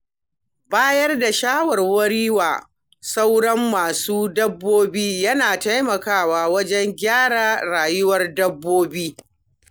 Bayar da shawarwari wa sauran masu dabbobi yana taimakawa wajen gyara rayuwar dabbobin.